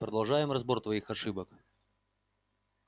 продолжаем разбор твоих ошибок